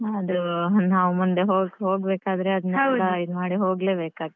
ಆದ್ರೂ ನಾವ್ ಮುಂದೆ ಹೋಗ್~ ಹೋಗ್ಬೇಕಾದ್ರೆ ಅದ್ನೇಲ್ಲ ಇದ್ಮಾಡಿ ಹೋಗ್ಲೇಬೇಕಾಗ್ತದೆ.